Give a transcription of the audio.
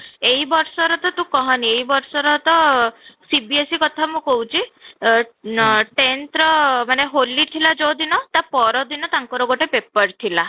ଏଇ ବର୍ଷର ତ ତୁ କହନି ଏଇ ବର୍ଷର ତ CBSE କଥା ମୁଁ କହୁଛି, ଆଃ tenth ର ହୋଲି ଥିଲା ଯୋଉ ଦିନ ତା ପରଦିନ ତାଙ୍କର ଗୋଟେ paper ଥିଲା